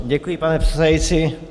Děkuji, pane předsedající.